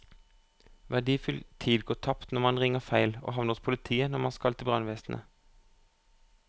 Verdifull tid går tapt når man ringer feil og havner hos politiet når man skal til brannvesenet.